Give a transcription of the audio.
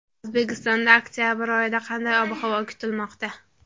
O‘zbekistonda oktabr oyida qanday ob-havo kutilmoqda?.